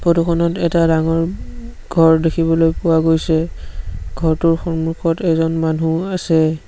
Photo খনত এটা ডাঙৰ উম ঘৰ দেখিবলৈ পোৱা গৈছে ঘৰটোৰ সন্মুখত এজন মানুহ আছে।